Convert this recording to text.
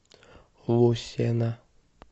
лусена